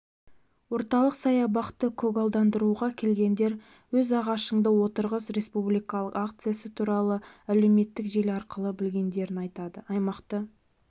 орталық саябақты көгалдандыруға келгендер өз ағашыңды отырғыз республикалық акциясы туралы әлеуметтік желі арқылы білгендерін айтады аймақты